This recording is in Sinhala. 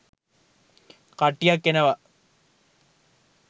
කට්ටියක් එනවා.